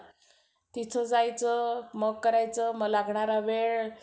तिथं जायचं मग करायचं मग लागणारा वेळ